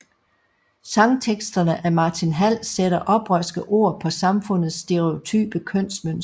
Sangteksterne af Martin Hall sætter oprørske ord på samfundets stereotype kønsmønstre